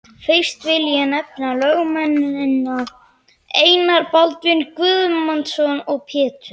Fyrsta vil ég nefna lögmennina Einar Baldvin Guðmundsson og Pétur